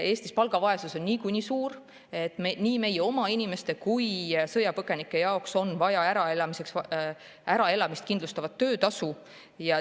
Eestis on palgavaesus niikuinii suur, nii meie oma inimeste kui sõjapõgenike jaoks on vaja äraelamist kindlustavat töötasu.